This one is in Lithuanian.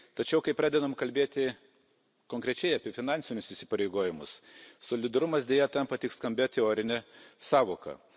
Tačiau kai pradedam kalbėti konkrečiai apie finansinius įsipareigojimus, solidarumas, deja, tampa tik skambia teorine sąvoka.